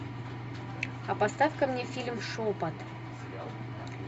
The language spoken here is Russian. а поставь ка мне фильм шепот